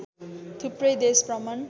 थुप्रै देश भ्रमण